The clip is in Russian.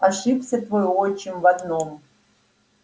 ошибся твой отчим в одном